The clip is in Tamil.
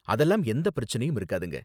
அதெல்லாம் எந்த பிரச்சனையும் இருக்காதுங்க.